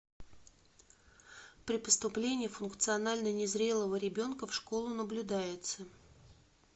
при поступлении функционально незрелого ребенка в школу наблюдается